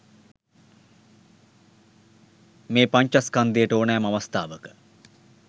මේ පඤ්චස්කන්ධයට ඕනෑම අවස්ථාවක